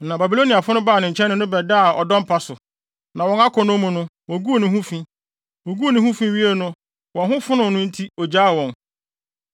Na Babiloniafo no baa ne nkyɛn ne no bɛdaa ɔdɔ mpa so, na wɔn akɔnnɔ mu no, woguu ne ho fi. Woguu ne ho fi wiee no wɔn ho fonoo no enti ogyaa wɔn.